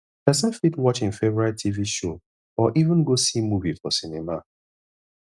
person fit watch im favourite tv show or even go see movie for cinema